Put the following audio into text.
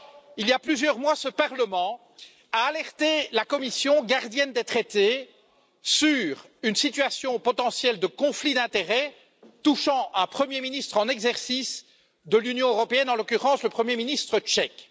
Il y a plusieurs mois, ce Parlement a alerté la Commission, gardienne des traités, sur une situation potentielle de conflit d'intérêts touchant un Premier ministre en exercice de l'Union européenne, en l'occurrence le Premier ministre tchèque.